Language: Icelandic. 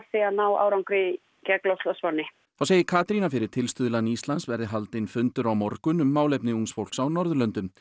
ná árangri gegn loftslagsvánni þá segir Katrín að fyrir tilstuðlan Íslands verði haldinn fundur á morgun um málefni ungs fólks á Norðurlöndum